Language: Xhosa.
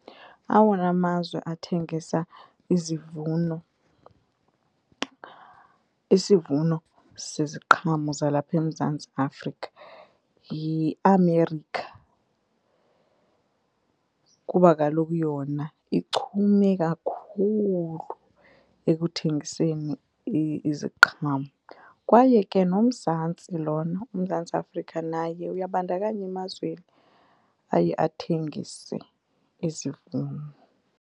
Awona mazwe athengisa izivuno, isivuno seziqhamo zalapha eMzantsi Afrika yiAmerica kuba kaloku yona ichume kakhulu ekuthengiseni iziqhamo kwaye ke noMzantsi lona uMzantsi Afrika naye uyabandakanya emazweni aye athengise izivuno.